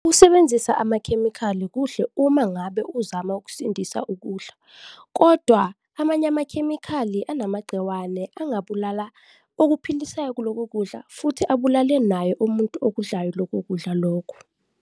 Usebenzisa amakhemikhali kuhle uma ngabe uzama ukusindisa ukudla kodwa amanye amakhemikhali anamagciwane angabulala okuphilisayo kuloko kudla futhi abulale naye umuntu okudlayo loko kudla lokho.